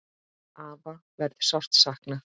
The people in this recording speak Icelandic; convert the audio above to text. Afa verður sárt saknað.